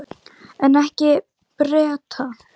En ekki Bretar.